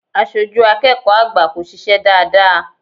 Aṣojú akẹ́kọ̀ọ́ àgbà kò ṣiṣẹ́ dáadáa.